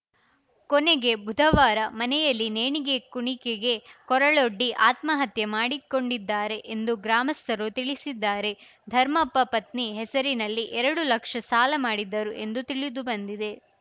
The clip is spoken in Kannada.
ಕೊನೆಗೆ ಬುಧವಾರ ಮನೆಯಲ್ಲಿ ನೇಣಿಗೆ ಕುಣಿಕೆಗೆ ಕೊರಳೊಡ್ಡಿ ಆತ್ಮಹತ್ಯೆ ಮಾಡಿಕೊಂಡಿದ್ದಾರೆ ಎಂದು ಗ್ರಾಮಸ್ಥರು ತಿಳಿಸಿದ್ದಾರೆ ಧರ್ಮಪ್ಪ ಪತ್ನಿ ಹೆಸರಿನಲ್ಲಿ ಎರಡು ಲಕ್ಷ ಸಾಲ ಮಾಡಿದ್ದರು ಎಂದು ತಿಳಿದುಬಂದಿದೆ